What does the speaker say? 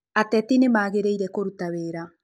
Atetĩ nĩmagĩrĩĩre kũrũta wĩra.